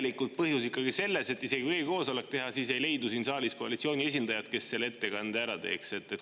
Või on põhjus ikkagi selles, et isegi kui e-koosolek teha, siis ei leidu siin saalis koalitsiooni esindajat, kes selle ettekande ära teeks?